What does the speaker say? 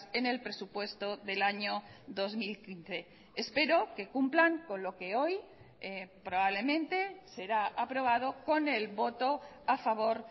en el presupuesto del año dos mil quince espero que cumplan con lo que hoy probablemente será aprobado con el voto a favor